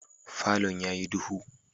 Falon yayi duhu.